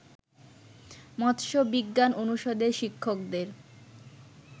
মৎস্য বিজ্ঞান অনুষদের শিক্ষকদের